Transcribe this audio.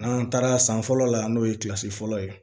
An taara san fɔlɔ la n'o ye fɔlɔ ye